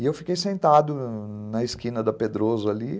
E eu fiquei sentado na esquina da Pedroso ali.